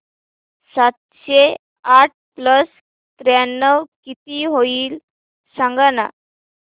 सातशे आठ प्लस त्र्याण्णव किती होईल सांगना